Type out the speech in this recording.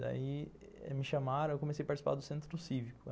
Daí, me chamaram e comecei a participar do Centro Cívico.